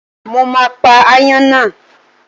Mo máa pa ááyán náà.